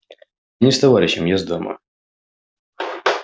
я не с товарищем я с дамою